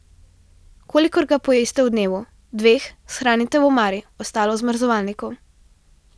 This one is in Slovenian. Kolikor ga pojeste v dnevu, dveh, shranite v omari, ostalo v zamrzovalniku.